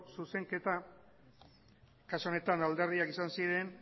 zuzenketa kasu honetan alderdiak izan ziren